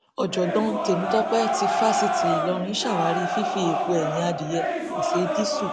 ọjọgbọn tèmítọpẹ ti fásitì ìlọrin ṣàwárí fífi èèpo ẹyìn adìẹ pèsè dììṣù